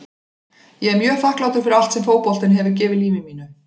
Ég er mjög þakklátur fyrir allt sem fótboltinn hefur gefið lífi mínu.